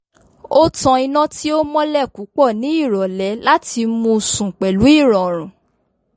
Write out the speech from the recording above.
o tan iná tí ò mọ́lẹ̀ púpọ̀ ní ìrọ̀lẹ́ láti mú sùn pẹ̀lú ìrọ̀rùn